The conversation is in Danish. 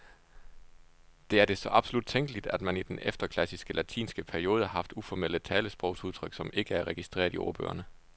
Det er det så absolut tænkeligt, at man i den efterklassiske latinske periode har haft uformelle talesprogsudtryk, som ikke er registreret i ordbøgerne.